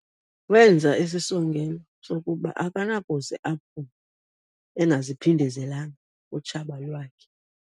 Wenza isisongelo sokuba akanakuze aphumle engaziphindezelanga kutshaba lwakhe.